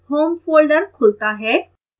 home folder खुलता है